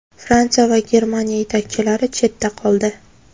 Fransiya va Germaniya yetakchilari chetda qoldi.